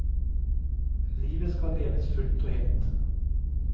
Livet skal leves fullt og helt.